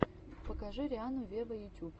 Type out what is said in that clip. покажи рианну вево ютюб